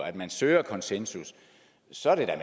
at man søger konsensus så er det da